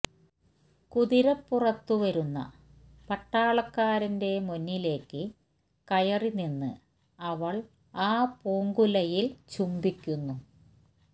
കുതിരപ്പുറത്തു വരുന്ന പട്ടാളക്കാരന്റെ മുന്നിലേക്ക് കയറി നിന്ന് അവൾ ആ പൂങ്കുലയിൽ ചുംബിക്കുന്നു